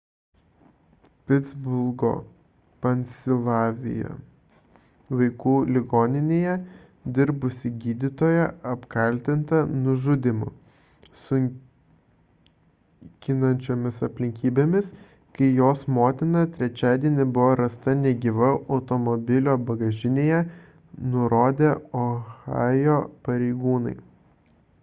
pitsburgo pensilvanija vaikų ligoninėje dirbusi gydytoja apkaltinta nužudymu sunkinančiomis aplinkybėmis kai jos motina trečiadienį buvo rasta negyva automobilio bagažinėje nurodė ohajo pareigūnai